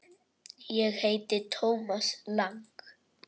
Ég heiti Thomas Lang.